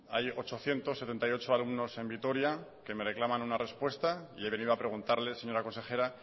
hay ochocientos setenta y ocho alumnos en vitoria que me reclaman una respuesta y he venido a preguntarle señora consejera